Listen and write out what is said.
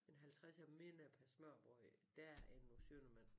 En halvtredser mindre per smørrebrød der end hos Schønnemann